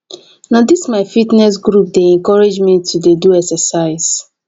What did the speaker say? na dis my fitness group dey encourage me to dey do exercise